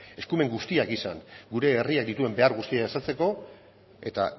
eskumen guztiak izan gure herrian dituen behar guztiak asetzeko eta